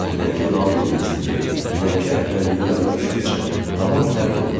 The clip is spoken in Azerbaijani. Dünənki lal dinməzliyi, dünənki əfəlliyi yadına düşdükcə tamam pərt olurdu.